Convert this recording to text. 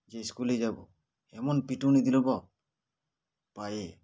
যে school -এই যাব এমন পিটুনি দিল বাপ পায়ে